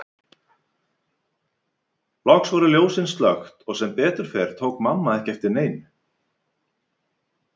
Loks voru ljósin slökkt og sem betur fór tók mamma ekki eftir neinu.